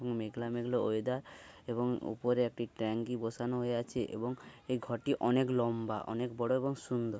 মেঘলা মেঘলা ওয়েদার এবং উপরে একটি ট্যাংকি বসানো হয়ে আছে এবং এই ঘরটি অনেক লম্বা অনেক বড় এবং সুন্দর।